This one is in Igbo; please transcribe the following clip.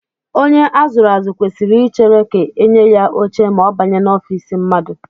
Onye a zụrụ azụ kwesịrị ichere ka e nye ya oche ma ọ banye n'ofiisi mmadụ